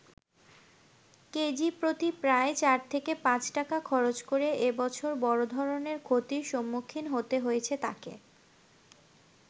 কেজিপ্রতি প্রায় ৪ থেকে ৫ টাকা খরচ করে এবছর বড় ধরণের ক্ষতির সম্মুখীন হতে হয়েছে তাকে।